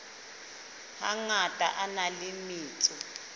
hangata a na le metso